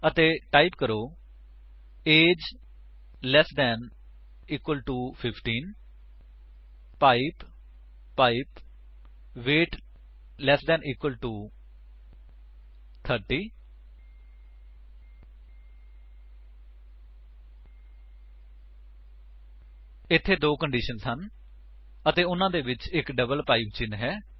ਅਤੇ ਟਾਈਪ ਕਰੋ A G E less than equal to 15 pipe pipe weight less than equal to 30 ਇੱਥੇ ਦੋ conditions ਹਨ ਅਤੇ ਉਨ੍ਹਾਂ ਦੇ ਵਿੱਚ ਡਬਲ ਪਾਇਪ ਚਿੰਨ੍ਹ ਹੈ